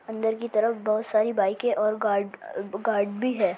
अंदर की तरफ बोहोत सारी बाइकें और गाड गार्ड भी है।